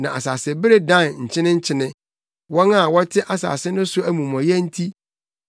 na asasebere dan nkyenenkyene, wɔn a wɔte asase no so amumɔyɛ nti.